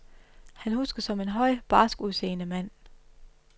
Han huskes som en høj, barsk udseende mand.